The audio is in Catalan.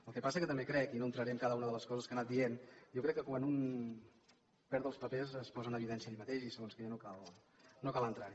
el que passa que també crec i no entraré en cada una de les coses que ha anat dient que quan un perd els papers es posa en evidència ell mateix i en segons què no cal entrar hi